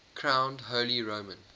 crowned holy roman